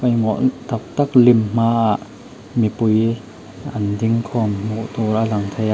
tak tak lim hmaah mipui an dingkhawm hmuh tur a lang thei a--